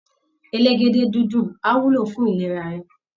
Elégédé-dídùn á wúlò fún ìlera rẹ